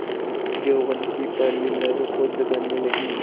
यौवन की पहली लहरों को जगाने लगी